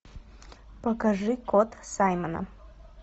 покажи кот саймона